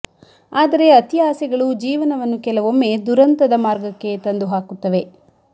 ಆದರೆ ಅತಿ ಆಸೆಗಳು ಜೀವನವನ್ನು ಕೆಲವೊಮ್ಮೆ ದುರಂತದ ಮಾರ್ಗಕ್ಕೆ ತಂದು ಹಾಕುತ್ತವೆ